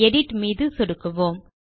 edit மீது சொடுக்குவோம்